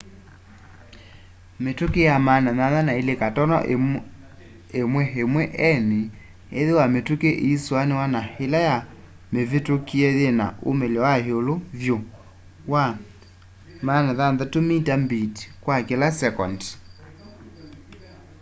mĩtũkĩ ya 802.11n ĩthĩwa mĩtũkangĩ ĩisianĩw'a na ĩla ya mĩvĩtũkie yĩna umĩlyo wa ĩũlũ vyũ wa 600mbit kwa kĩla sekendi